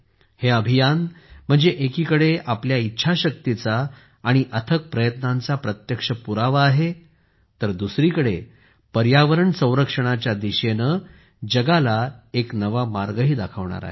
हे अभियान म्हणजे एकीकडे आपल्या इच्छाशक्तीचा आणि अथक प्रयत्नांचा प्रत्यक्ष पुरावा आहे तर दुसरीकडे पर्यावरण संरक्षणाच्या दिशेने जगाला एक नवा मार्गही दाखवणार आहे